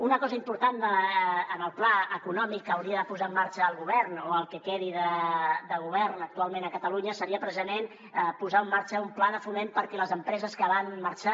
una cosa important en el pla econòmic que hauria de posar en marxa el govern o el que quedi del govern actualment a catalunya seria precisament posar en marxa un pla de foment perquè les empreses que van marxar